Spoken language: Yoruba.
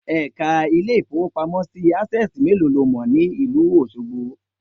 Èka Ilé ìfowópamọ́ sí ti Access méèló lo mò ní ìlú Òsogbo